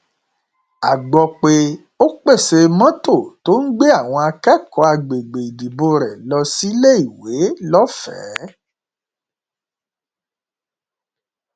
a gbọ pé ó pèsè mọtò tó ń gbé àwọn akẹkọọ àgbègbè ìdìbò rẹ lọ síléèwé lọfẹẹ